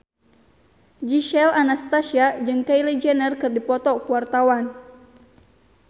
Gisel Anastasia jeung Kylie Jenner keur dipoto ku wartawan